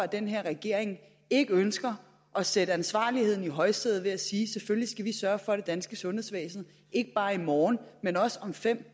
den her regering ikke ønsker at sætte ansvarligheden i højsædet ved at sige at selvfølgelig skal vi sørge for at det danske sundhedsvæsen ikke bare i morgen men også om fem